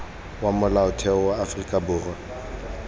wa molaotheo wa aforika borwa